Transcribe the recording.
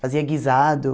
Fazia guisado.